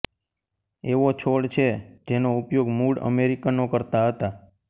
એવો છોડ છે જેનો ઉપયોગ મૂળ અમેરિકનો કરતા હતા